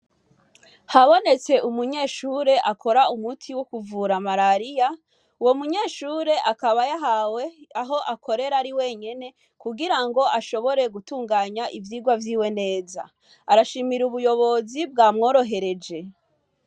Habonetse umunyeshure akora umuti wo kuvura malaria. Uwo munyeshure akaba yahawe aho akorera ari wenyene, kugira ngo ashobore gutunganya ivyigwa vyiwe neza. Arashimira ubuyobozi bwamworohereje.